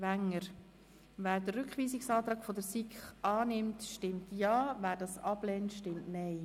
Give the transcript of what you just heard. Wer den Rückweisungsantrag der SiK unterstützt, stimmt Ja, wer diesen ablehnt, stimmt Nein.